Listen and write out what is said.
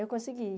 Eu consegui.